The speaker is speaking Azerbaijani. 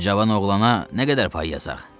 Bu cavan oğlana nə qədər pay yazaq?